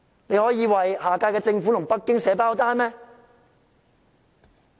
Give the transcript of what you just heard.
你們可以為下屆政府和北京"寫包單"嗎？